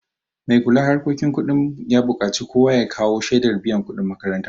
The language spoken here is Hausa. Mai kula harkokin kudin ya buƙaci kowa ya kawo shaidar biyan kuɗin makaranta